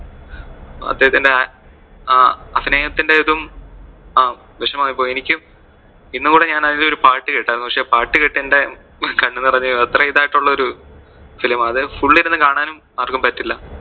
അദ്ദേഹത്തിന്‍റെ ആ അഹ് അഭിനയത്തിന്‍റെ ഇതും വിഷമായിപ്പോവും എനിക്കും ഇന്നും കൂടെ അതിലെ ഒരു പാട്ട് കെട്ടായിരുന്നു പക്ഷെ പാട്ട് കേട്ട് എന്റെ കണ്ണ് നിറഞ്ഞു പോയി. അത്രേം ഇതായിട്ട് ഉള്ള ഒരു film ആ അത്. Full ഇരുന്ന് കാണാനും ആർക്കും പറ്റില്ല.